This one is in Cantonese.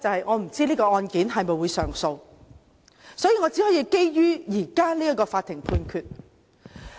我不知道這宗案件會否上訴，所以我只可以基於現時這項法院判決來說。